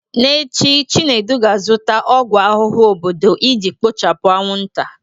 N'echi, Chinedu ga-azụta ọgwụ ahụhụ obodo iji kpochapụ anwụnta